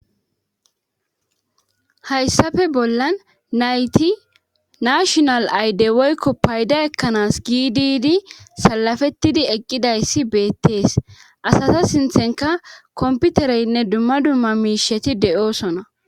hayssafe bollan nayti nashonal ayde woykko payda ekkanaas giididi salafettidi eqqidayssi beettees asasa sinthenka komputereynne dumma dumma miisheti de7oosona